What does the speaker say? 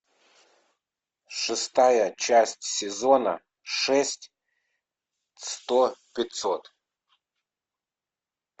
шестая часть сезона шесть сто пятьсот